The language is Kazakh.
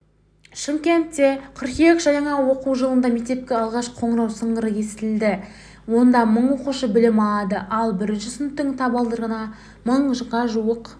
шымкентте қыркүйек жаңа оқу жылында мектепте алғашқы қоңырау сыңғыры естіледі онда мың оқушы білім алады ал бірінші сыныптың табалдырығын мыңға жуық